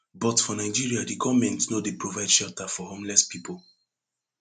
but for nigeria di goment no dey provide shelter for homeless pipo